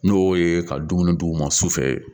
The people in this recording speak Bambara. N'o ye ka dumuni d'u ma su fɛ